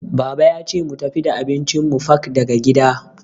Baba yace mu tafi da abincin mu fak daga gida.